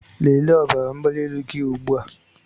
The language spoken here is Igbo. Lelee ọbara mgbali elu gị ugbu a!